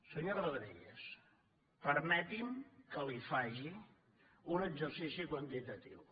senyor rodríguez permeti’m que li faci un exercici quantitatiu